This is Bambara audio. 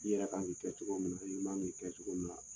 I yɛrɛ kan k'i kɛ cogo min na, i man kan k'i kɛ cogo min na.